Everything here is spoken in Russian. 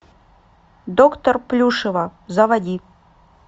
доктор плюшева заводи